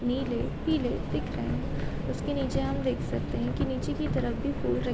नीले-पीले दिख रहे हैं उसके नीचे हम देख सकते है कि नीचे की तरफ भी फूल रख--